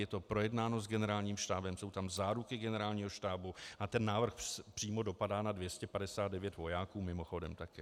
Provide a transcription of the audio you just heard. Je to projednáno s Generálním štábem, jsou tam záruky Generálního štábu a ten návrh přímo dopadá na 259 vojáků mimochodem také.